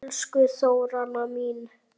Elsku Þóranna mín.